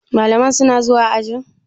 Malaman suna zuwa ajin?